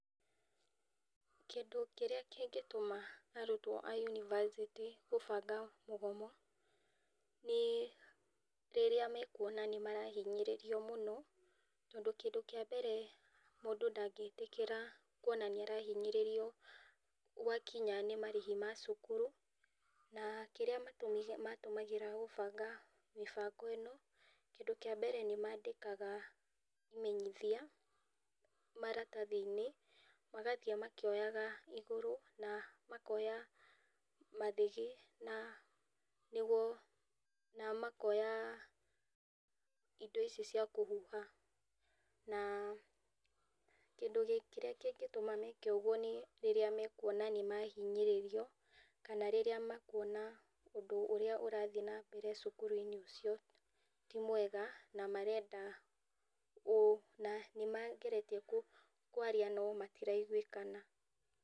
Kĩndũ kĩrĩa kingĩtuma arutwa ma yunivasĩtĩ gũbanga mũgomo nĩrĩrĩa mekwonania nĩmarahinyĩrĩrio mũno tondũ, kĩndũ kĩa mbere mũndũ ndangĩtĩkĩra kwona nĩarahinyĩrĩrio gwakinya nĩmarĩhi ma cukuru, na[uhh] kĩrĩa matũmagĩra kũbanga mĩbango ĩno, kĩndũ kíĩ mbere nĩmandĩkaga imenyithia maratathinĩ, magathii makĩyoga igũrũ na makoya mathĩgĩ na makoya indo ici cia kũhuha na kĩndũ kĩrĩa kĩngĩtũma meke ũguo nĩ ,rĩrĩa mekwonania nĩmahinyĩrĩrio kana rĩrĩa mekũona ũndũ ũrĩa ũrathi na mbere cukuruinĩ ucio ti mwega na nĩmarenda nĩmageretie kwaria na matiraigwĩkana.